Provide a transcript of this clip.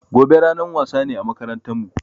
Gobe ranan wasa ne a makarantan mu